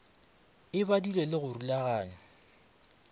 e badilwego le go rulaganywa